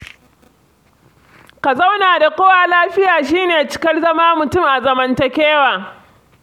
Ka zauna da kowa lafiya shi ne cikar zama mutum a zamantakewa.